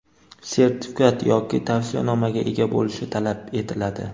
sertifikat yoki tavsiyanomaga ega bo‘lishi talab etiladi.